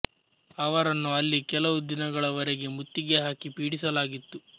ಅವರನ್ನು ಅಲ್ಲಿ ಕೆಲವು ದಿನಗಳ ವರೆಗೆ ಮುತ್ತಿಗೆ ಹಾಕಿ ಪೀಡಿಸಲಾಗಿತ್ತು